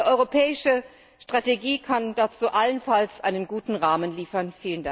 Eine europäische Strategie kann dazu allenfalls einen guten Rahmen liefern.